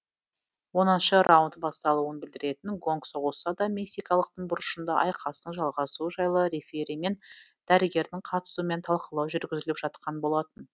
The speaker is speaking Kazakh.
оныншы раунд басталуын білдіретін гонг соғылса да мексикалықтың бұрышында айқастың жалғасуы жайлы рефери мен дәрігердің қатысуымен талқылау жүргізіліп жатқан болатын